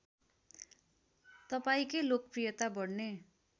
तपाईँकै लोकप्रियता बढ्ने